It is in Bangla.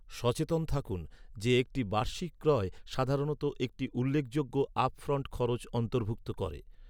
সচেতন থাকুন যে একটি বার্ষিক ক্রয় সাধারণত একটি উল্লেখযোগ্য আপফ্রন্ট খরচ অন্তর্ভুক্ত করে।